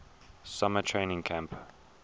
summer training camp